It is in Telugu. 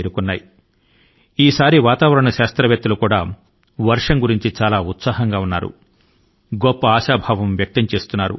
మిత్రులారా రుతుపవనాలు దేశం లోని చాలా ప్రాంతాల కు విస్తరించాయి